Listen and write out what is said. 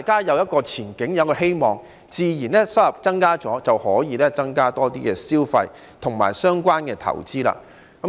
有了前景和希望，收入也會增加，大家自然會增加消費及相關投資。